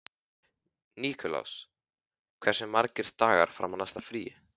Nikulás, hversu margir dagar fram að næsta fríi?